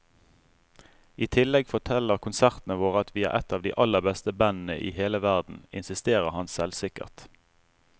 I tillegg forteller konsertene våre at vi er et av de aller beste bandene i hele verden, insisterer han selvsikkert.